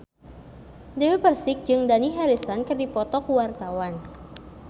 Dewi Persik jeung Dani Harrison keur dipoto ku wartawan